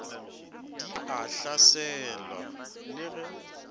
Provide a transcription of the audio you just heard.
di a hlatselwa le ge